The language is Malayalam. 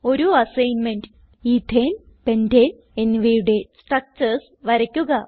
ഒരു അസൈൻമെന്റ് എത്തനെ പെന്റനെ എന്നിവയുടെ സ്ട്രക്ചർസ് വരയ്ക്കുക